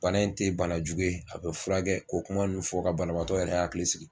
Bana in tɛ bana jugu ye, a bɛ furakɛ ko kuma nunnu fɔ ka banabagatɔ yɛrɛ y hakili sigi.